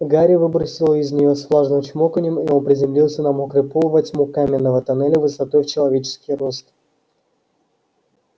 гарри выбросило из неё с влажным чмоканьем и он приземлился на мокрый пол во тьму каменного тоннеля высотой в человеческий рост